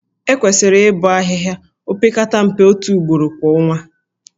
Ekwesịrị ịbọ ahịhịa opekata mpe otu ugboro kwa ọnwa